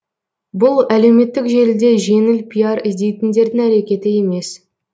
бұл әлеуметтік желіде жеңіл пиар іздейтіндердің әрекеті емес